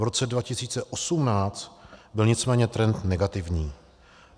V roce 2018 byl nicméně trend negativní.